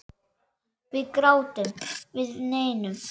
Við grátum, við veinum.